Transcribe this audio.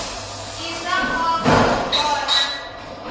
i swa nkoka ku vona